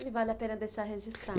E vale a pena deixar registrado